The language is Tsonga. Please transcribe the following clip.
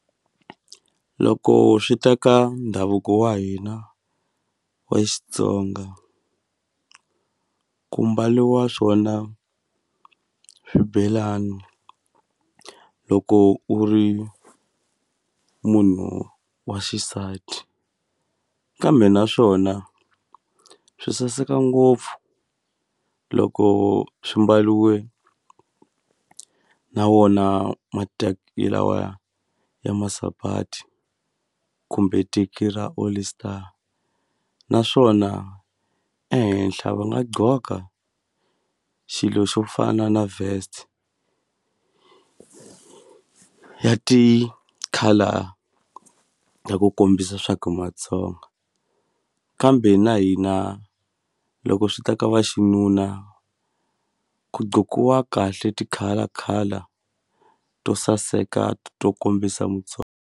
Loko swi ta ka ndhavuko wa hina wa Xitsonga ku mbaliwa swona swibelani loko u ri munhu wa xisati kambe naswona swi saseka ngopfu loko swi mbaliwe na wona lawaya ya masapati kumbe teki ra All Star naswona ehenhla va nga gqoka xilo xo fana na vest ya ti-colour ta ku kombisa swa ku hi Matsonga kambe na hina loko swi ta ka va xinuna ku kahle ti-color color to saseka to kombisa .